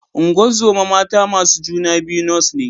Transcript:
Ungozoma mata masu juna biyu Nurse ne